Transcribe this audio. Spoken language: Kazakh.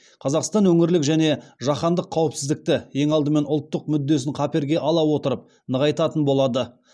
қазақстан өңірлік және жаһандық қауіпсіздікті ең алдымен ұлттық мүддесін қаперге ала отырып нығайтатын болады